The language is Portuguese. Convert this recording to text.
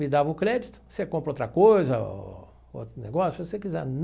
Me dava o crédito, você compra outra coisa, outro negócio, se você quiser.